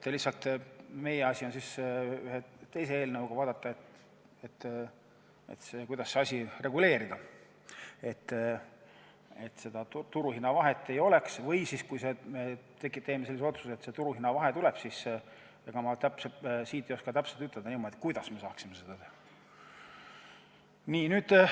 Lihtsalt meie asi on ühe teise eelnõuga vaadata, kuidas see reguleerida, et seda turuhinna vahet ei oleks, või kui me teeme otsuse, et see turuhinna vahe tuleb, siis ega ma ei oska täpselt ütelda, kuidas me saaksime seda teha.